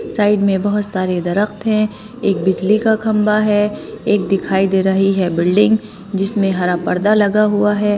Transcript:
Side में बहुत सारे दरख़्त है एक बिजली का खंबा है एक दिखाई दे रही है बिल्डिंग जिसमें हरा पर्दा लगा हुआ है।